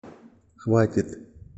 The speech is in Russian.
хватит